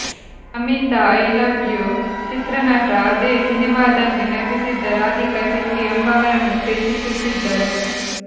Namita I love you ಚಿತ್ರನಟ ಅದೇ ಸಿನಿಮಾದಲ್ಲಿ ನಟಿಸಿದ್ದ ರಾಧಿಕಾ ಶೆಟ್ಟಿ ಎಂಬುವವರನ್ನು ಪ್ರೀತಿಸುತ್ತಿದ್ದರು